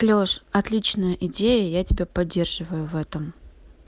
лёша отличная идея я тебя поддерживаю в этом